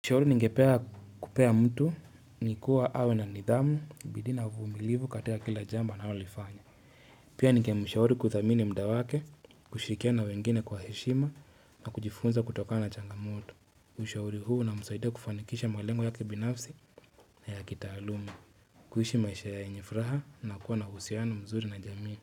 Shauri ningepea kupea mtu, nikuwa awe na nidhamu, bidii na uvumilivu katika kila jambo anao lifanya. Pia ningemishauri kuthamini muda wake, kushirikiana wengine kwa heshima na kujifunza kutokana changamoto. Ushauri huu unamsaidia kufanikisha malengo ya kibinafsi na ya kitaaluma. Kuishi maisha yenye furaha na kuwa na uhusiano mzuri na jamii.